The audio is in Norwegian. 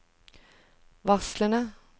varslene